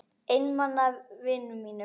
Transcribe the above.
Einmana vinum mínum.